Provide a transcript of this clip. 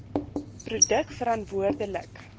produk verantwoorde lik